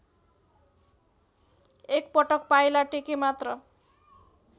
एकपटक पाइला टेकेमात्र